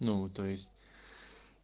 ну то есть